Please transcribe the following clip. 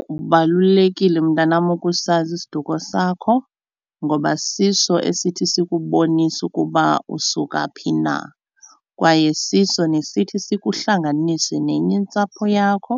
Kubalulekile mntanam ukusazi isiduko sakho ngoba siso esithi sikubonise ukuba usuka phi na kwaye siso nesithi sikuhlanganise nenye intsapho yakho